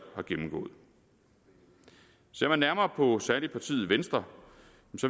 har gennemgået ser jeg nærmere på særlig partiet venstre